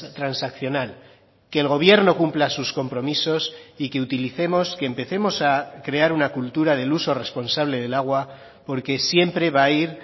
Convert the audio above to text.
transaccional que el gobierno cumpla sus compromisos y que utilicemos que empecemos a crear una cultura del uso responsable del agua porque siempre va a ir